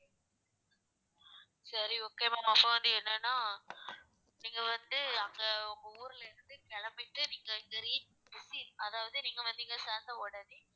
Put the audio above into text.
சரி okay ma'am அப்புறம் வந்து என்னென்னா நீங்க வந்து அங்க உங்க ஊர்ல இருந்து கிளம்பிட்டு நீங்க இங்க reach அதாவது நீங்க வந்து இங்க சேர்ந்தவுடனே